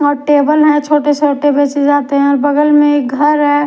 वहा टेबल है छोटे छोटे बेचे जाते है और बगल में एक घर है।